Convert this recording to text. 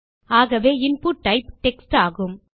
ஆகவே input type text ஆகும்